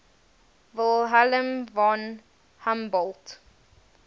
wilhelm von humboldt